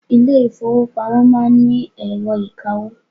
Ilé ìfọwọ́pamo má ń ni ẹ̀rọ ìkawó.